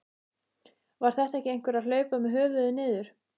Var þetta ekki einhver að hlaupa með höfuðið niður?